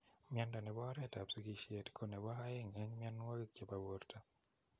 Miondo nepo oreet ap sigisheet ko nepo aeng eng mionwogik chepo borto.